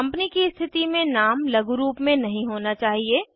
company की स्थिति में नाम लघुरूप में नहीं होना चाहिए